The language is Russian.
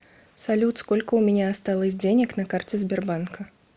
салют сколько у меня осталось денег на карте сбербанка